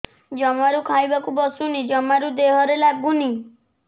ଜମାରୁ ଖାଇବାକୁ ବସୁନି ଜମାରୁ ଦେହରେ ଲାଗୁନି